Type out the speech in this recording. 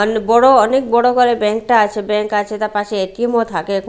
অনেক বড় অনেক বড় ঘর ব্যাংক -টা আছে ব্যাংক আছে তার পাশে এ_টি_এম -ও থাকে।